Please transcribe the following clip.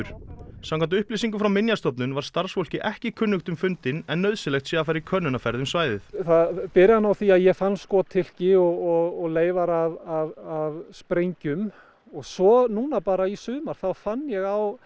samkvæmt upplýsingum frá Minjastofnun var starfsfólki ekki kunnugt um fundinn en nauðsynlegt sé að fara í könnunarferð um svæðið það byrjar á því að ég fann skothylki og leifar af sprengjum og svo núna bara í sumar þá fann ég á